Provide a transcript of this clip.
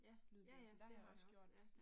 Ja, ja ja det har jeg også, ja